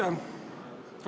Aitäh!